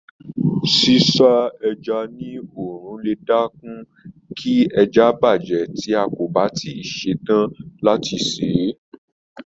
Sísá ẹja ní òòrùn lè dẹ́kun kí ẹja bàjẹ́ tí a kò bá tí ì ṣe tán láti sè é.